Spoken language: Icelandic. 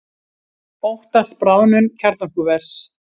Óttast bráðnun kjarnorkuvers